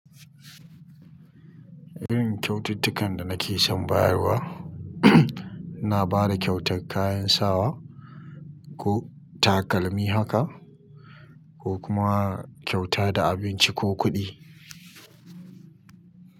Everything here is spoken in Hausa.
Irin kyaututtukan da nake son bayarwa ina ba da kyautar kayan sawa ko takalmi haka ko kuma kyauta da abinci ko kuɗi.